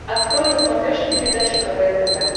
открой на смотрешке передачу квн тв